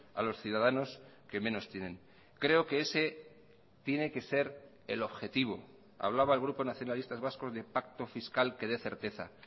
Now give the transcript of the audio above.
a los ciudadanos que menos tienen creo que ese tiene que ser el objetivo hablaba el grupo nacionalistas vascos de pacto fiscal que dé certeza